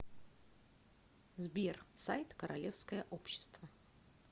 сбер сайт королевское общество